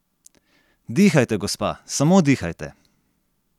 Dihajte, gospa, samo dihajte!